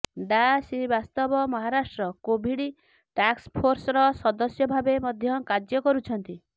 ଡା ଶ୍ରୀବାସ୍ତବ ମହାରାଷ୍ଟ୍ର କୋଭିଡ ଟାକ୍ସଫୋର୍ସର ସଦସ୍ୟ ଭାବେ ମଧ୍ୟ କାର୍ଯ୍ୟ କରୁଛନ୍ତି